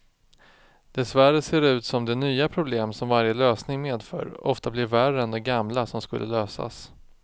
Dessvärre ser det ut som de nya problem som varje lösning medför ofta blir värre än de gamla som skulle lösas.